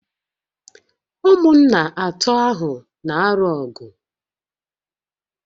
Ụmụnna atọ ahụ na-alụ ọgụ